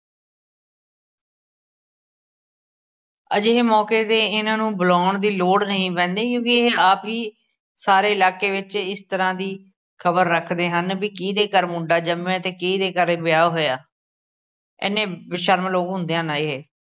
ਅਜਿਹੇ ਮੌਕੇ 'ਤੇ ਇਹਨਾਂ ਨੂੰ ਬੁਲਾਉਣ ਦੀ ਲੋੜ ਨਹੀ ਪੈਂਦੀ ਕਿਉਕਿ ਇਹ ਆਪ ਹੀ ਸਾਰੇ ਇਲਾਕੇ ਵਿੱਚ ਇਸ ਤਰ੍ਹਾਂ ਦੀ ਖਬਰ ਰੱਖਦੇ ਹਨ, ਬਈ ਕਿਹਦੇ ਘਰ ਮੁੰਡਾ ਜੰਮਿਆ ਅਤੇ ਕਿਹਦੇ ਘਰ ਵਿਆਹ ਹੋਇਆ, ਇਹਨੇ ਬੇਸ਼ਰਮ ਲੋਕ ਹੁੰਦੇ ਹਨ, ਇਹ